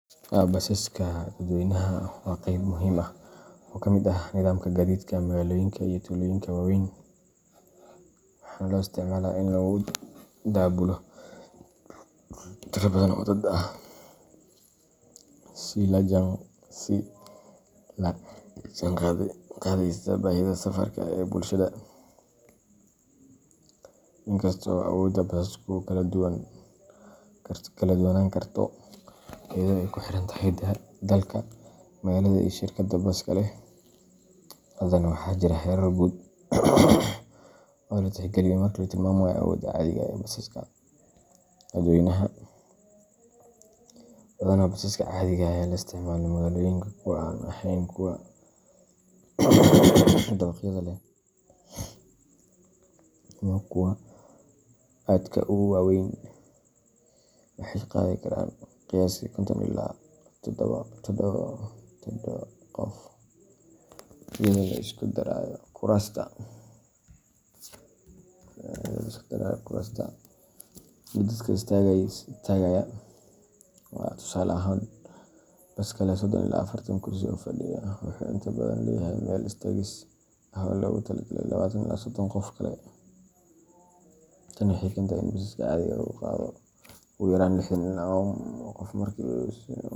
Basaska dadweynaha waa qayb muhiim ah oo ka mid ah nidaamka gaadiidka magaalooyinka iyo tuulooyinka waaweyn, waxaana loo isticmaalaa in lagu daabulo tiro badan oo dad ah, si la jaanqaadaysa baahida safarka ee bulshada. Inkasta oo awoodda basasku kala duwanaan karto iyadoo ay ku xiran tahay dalka, magaalada, iyo shirkadda baska leh, haddana waxaa jira heerar guud oo la tixgeliyo marka la tilmaamayo awoodda caadiga ah ee basaska dadweynaha. Badanaa, basaska caadiga ah ee laga isticmaalo magaalooyinka kuwa aan ahayn kuwa dabaqyada leh ama kuwa aadka u waaweyn waxay qaadi karaan qiyaastii konton ilaa todobo qof, iyadoo la isku darayo kuraasta iyo dadka istaagaya. Tusaale ahaan, baska leh sodon ila afartan kursi oo fadhiga ah wuxuu inta badan leeyahay meel istaagis ah oo loogu talagalay labatan ila sodon qof kale. Tani waxay keentaa in baska caadiga ahi qaado ugu yaraan lixdan qof markuu si buuxda.